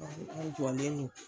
ne fana jɔlen don